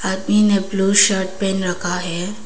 आदमी ने blue shirt पहन रखा है।